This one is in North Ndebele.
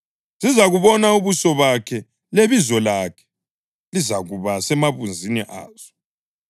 Zizabubona ubuso bakhe lebizo lakhe lizakuba semabunzini azo.